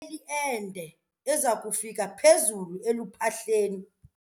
Kufuneka ileli ende eza kufika phezulu eluphahleni.